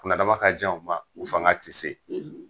Kunnadama ka jan u ma; ; u fanga tɛ se;